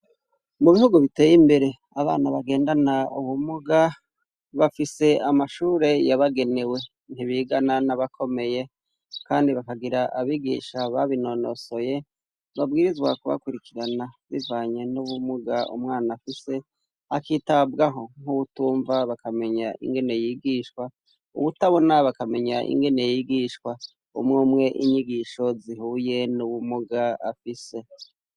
Mu bihugu biteye imbere abana bagendana ubumuga bafise amashure yabagenewe ntibigana n'abakomeye, kandi bakagira abigisha babinonosoye babwirizwa kubakurikirana bivanye n'ubumuga umwana afise akitabwaho nk'uwutumva bakamenyaimke gene yigishwa uwutabona bakamenya ingene yigishwa umwe umwe inyigisho zihuye n'uwumuga afise.